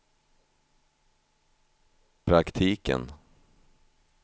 praktiken